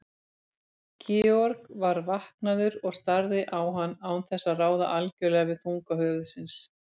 Georg var vaknaður og starði á hann án þess að ráða algjörlega við þunga höfuðsins.